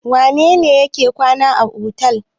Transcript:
Wane ne yake kwana a otel?